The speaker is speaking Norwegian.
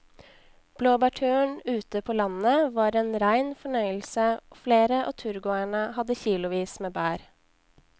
Blåbærturen ute på landet var en rein fornøyelse og flere av turgåerene hadde kilosvis med bær.